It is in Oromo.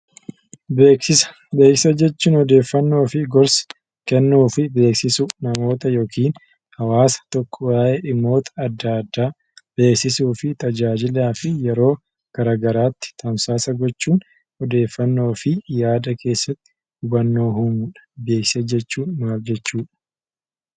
Beeksisa. Beeksisa jechuun odeeffannoo kennuu, gorsa kennuu fi beeksisuu yookiin hawwaasni tokko namoota addaa addaa beeksisuu fi tajaajiluu beeksisaa fi yeroo garaa garaatti tamsaasa gochuun odeeffannoo fi yaada keessatti hubannoo uumuu dha. Beeksisa jechuun maal jechuu dha?